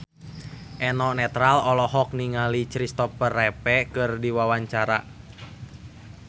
Eno Netral olohok ningali Christopher Reeve keur diwawancara